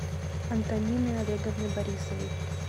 антонины олеговны борисовой